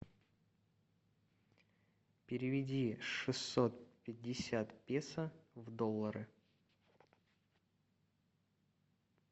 переведи шестьсот пятьдесят песо в доллары